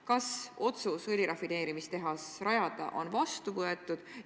Kas otsus õlirafineerimistehas rajada on vastu võetud?